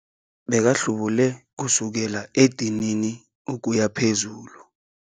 Bekahlubule kusukela edinini ukuya phezulu.